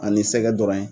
Ani sɛgɛ dɔrɔn ye